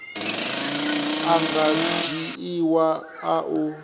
a nga dzhiiwa a u